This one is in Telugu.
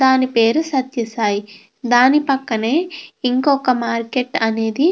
దాని పేరు సత్యసాయి దాని పక్కనే ఇంకొక మార్కెట్ అనేది --